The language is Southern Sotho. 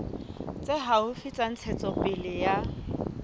tse haufi tsa ntshetsopele ya